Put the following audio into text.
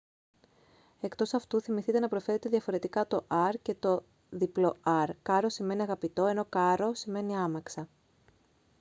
εκτός αυτού θυμηθείτε να προφέρετε διαφορετικά το r και το rr caro σημαίνει αγαπητό ενώ carro σημαίνει άμαξα